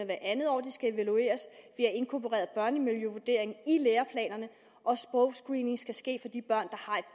hvert andet år de skal evalueres vi inkorporeret børnemiljøvurdering i læreplanerne og sprogscreening skal ske